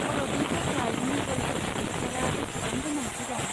भारतनि थाखाय मुगल आरकिटेकसारआ बेसेबां गोनांथि दं?